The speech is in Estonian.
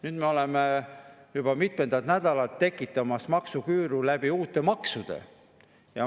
Nüüd me oleme juba mitmendat nädalat tekitamas maksuküüru uute maksudega.